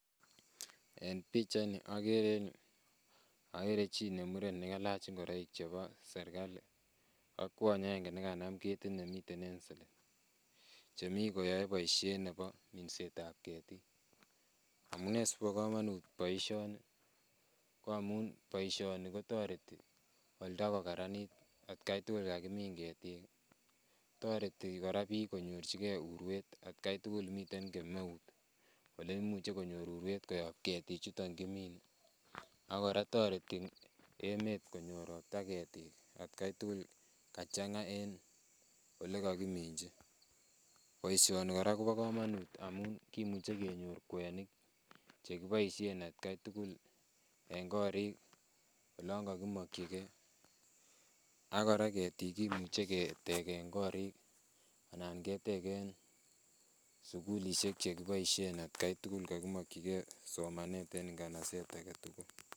En pichaini okere en yuu okere chii be miten nekelach ing'oroik chebo serikali ak kwony akeng'e nekanam ketit nemiten en selel, chemii koyoe boishet nebo minsetab ketik, amune sikobo komonut boishoni ko amun boishoni kotoreti oldo kokaranit atkai tukul kakimin ketik, toreti kora biik konyorchike urwet atkai tukul miten kameut oleimuche konyor urwet koyob ketichuton kimine ak kora toreti emet konyor robta atkai tukul kachang'a en olekokiminchi, boishoni kora kobokomonut amun kimuche kenyor kwenik chekiboishen atkai tukul en korik olon kokimokyike ak kora ketik kimuche keteken korik anan keteken sukulishek chekiboishen atkai tukul kokimokyike somanet en nganaset aketukul.